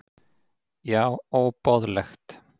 Já óboðlegt!